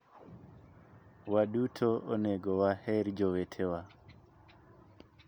Waduto onego waher jowetewa.